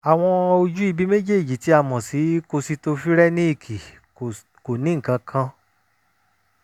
àwọn ojú ibi méjèèjì tí a mọ̀ sí kositofirẹ́níìkì kò ní nǹkan kan